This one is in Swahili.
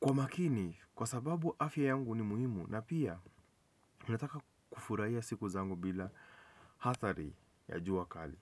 kwa makini kwa sababu afya yangu ni muhimu na pia mimi nataka kufurahia siku zangu bila athari ya jua kali.